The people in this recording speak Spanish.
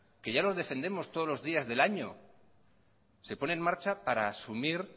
que ya los defendemos todos los días del año se pone en marcha para asumir